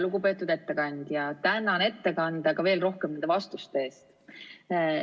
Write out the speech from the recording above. Lugupeetud ettekandja, tänan ettekande, aga veel rohkem vastuste eest!